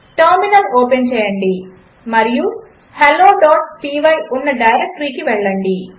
terminal open చేయండి మరియు helloపై ఉన్న డైరెక్టరీకి వెళ్ళండి